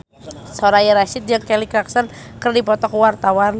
Soraya Rasyid jeung Kelly Clarkson keur dipoto ku wartawan